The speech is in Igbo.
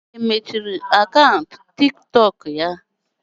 Emechi aha ya nke di na Tiktok?